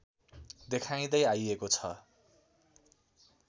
देखाइँदै आइएको छ